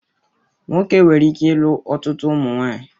Nwoke nwere ike ilu ọtụtụ ụmụnwaanyị